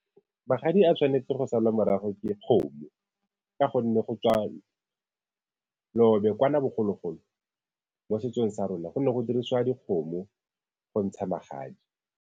Magadi a tshwanetse go salwa morago ke kgomo, ka gonne go tswa kwana bogologolo mo setsong sa rona go ne go dirisiwa dikgomo go ntsha magadi.